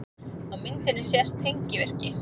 Á myndinni sést tengivirki.